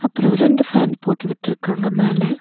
அப்றோ ரெண்டு ஃபேன் போட்டு விட்ருக்காங்க மேல.